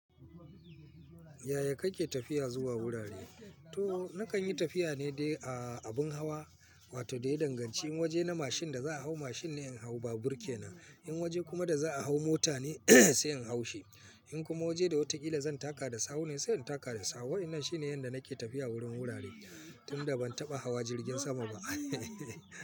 Yaya kake tafiya zuwa wurare? To nakan yi tafiya ne dai a abun hawa, wato daya danganci in waje na mashin da za a hau mashin ne in hau babur kenan. In waje kuma da za a hau mota ne sai in hau shi. In kuma waje da wataƙila zan taka da sawu ne, sai in taka da sawu. Wa'inan shine yanda nake tafiya wurin wurare tunda ban taɓa hawa jirgin sama ba.